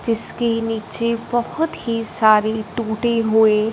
जिसकी नीचे बहोत ही सारी टूटे हुए--